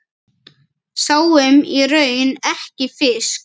Sáum í raun ekki fisk.